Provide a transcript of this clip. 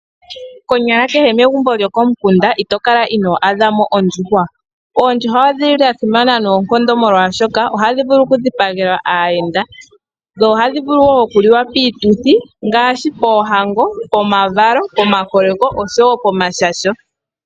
Konyala kehe megumbo lyokomukunda, ito kala ino adha mo ondjuhwa. Oondjuhwa odhili li dha simana noonkondo, oshoka oha dhi vulu oku dhipagelwa aayenda, dho oha dhi vulu wo oku liwa piiituthi, ngaashi poohango, pomavalo, pomakoleko, osho wo pomashasho.